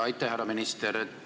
Aitäh, härra minister!